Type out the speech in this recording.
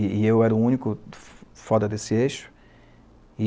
E eu era o único fo fora desse eixo. E